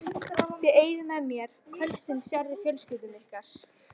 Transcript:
Þið eyðið með mér kvöldstund fjarri fjölskyldum ykkar.